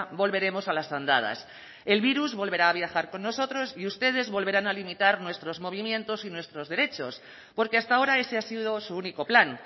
volveremos a las andadas el virus volverá a viajar con nosotros y ustedes volverán a limitar nuestros movimientos y nuestros derechos porque hasta ahora ese ha sido su único plan